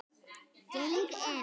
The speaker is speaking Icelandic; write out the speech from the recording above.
Geng inn.